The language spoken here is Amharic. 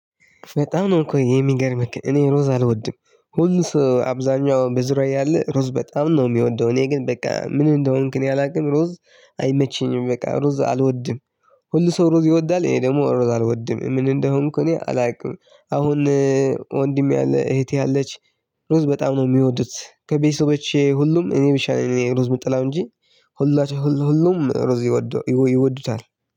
በጣም ነው እኮ የሚገርምህ ግን እኔ ሩዝ አልወድም ሁሉ ሰው አብዛኛው በዙሪያዬ ያለ ሩዝ በጣም ነው የሚወደው እኔ ግን በቃ ምን እንደሆንክ እኔ አላውቅም ሩዝ አይመችኝም በቃ ሩዝ አልወድም። ሁሉ ሰው ሩዝ ይወዳል እኔ ደግሞ ሩዝ አልወድም ምን እንደሆንኩ እኔ አላውቅም። አሁን ወንድሜ አለ እህቴ አለች። ሩዝ በጣም ነው የሚወዱት ከቤተሰቦቼ ሁሉም እኔ ብቻ ነኝ ሩዝ የምጠላው እንጂ። ሁላችሁ ሁሉ ሁሉም ሩዝ ይወድ ይወዱታል